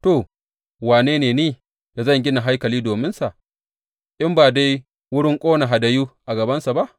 To, wane ne ni da zan gina haikali dominsa, in ba dai wurin ƙona hadayu a gabansa ba?